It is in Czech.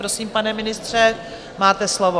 Prosím, pane ministře, máte slovo.